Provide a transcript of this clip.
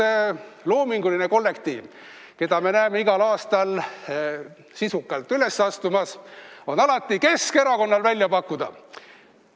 Üks loominguline kollektiiv, keda me näeme igal aastal sisukalt üles astumas, on alati Keskerakonnal välja pakkuda.